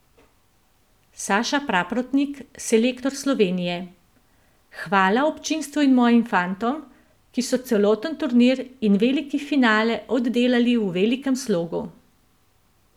Saša Prapotnik, selektor Slovenije: "Hvala občinstvu in mojim fantom, ki so celoten turnir in veliki finale oddelali v velikem slogu.